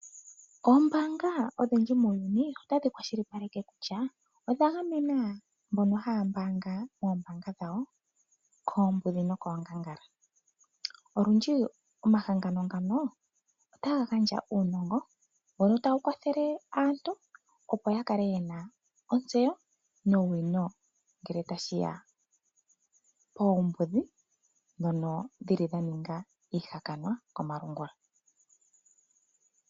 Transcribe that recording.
Oombaanga odhindji muuyuni otadhi kwashilipaleke kutya odha gamena mbono haya mbaanga moombaanga dhawo koombudhi nokoongangala. Olundji omahangano ngano otaga gandja uunongo, mbono tawu kwathele aantu, opo ya kale ye na ontseyo nowino ngele tashi ya koombudhi ndhono dha ninga iihakanwa komalungula.